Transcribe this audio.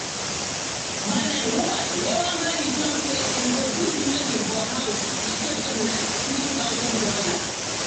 man and woman wey wan marry talk say dem go do the wedding for house e save dem like three thousand dollars.